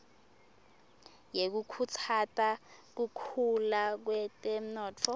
yekukhutsata kukhula kutemnotfo